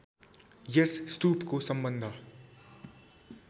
यस स्तूपको सम्बन्ध